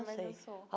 Nunca mais dançou.